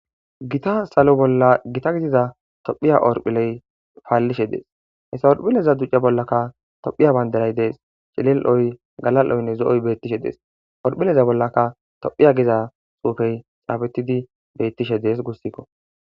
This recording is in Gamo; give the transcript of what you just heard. gita salo bolla gita gidiza tophiya orphiley faallishe dees essa orphileza duce bollaka tophiya banderay dees cilel7oy galal7oynne zo7oy beettishe dees orphileza bollaka tophiya giza xuufey xaabetidi beettishe dees gussikko